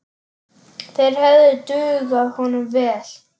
Þeir hefðu dugað honum vel.